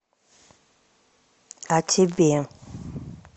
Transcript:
а тебе